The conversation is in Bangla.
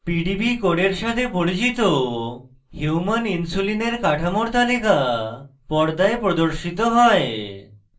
pdb codes সাথে পরিচিত human insulin এর কাঠামোর তালিকা পর্দায় প্রদর্শিত হয়